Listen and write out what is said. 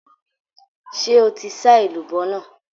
Ṣé o ti sá èlùbọ́ nàá?